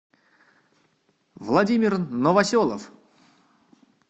владимир новоселов